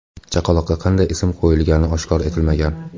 Chaqaloqqa qanday ism qo‘yilgani oshkor etilmagan.